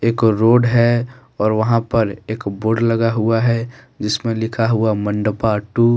एक रोड है और वहां पर एक बोर्ड लगा हुआ है जिसमें लिखा हुआ मंडपा टू ।